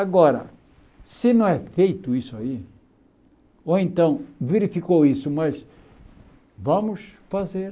Agora, se não é feito isso aí, ou então verificou isso, mas vamos fazer...